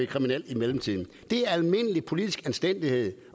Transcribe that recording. kriminelle i mellemtiden det er almindelig politisk anstændighed